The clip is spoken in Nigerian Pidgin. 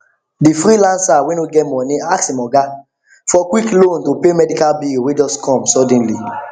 the freelancer wey no get money ask him oga for quick loan to pay medical bill wey just come suddenly